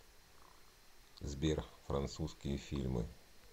сбер французские фильмы